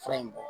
Fura in bɔ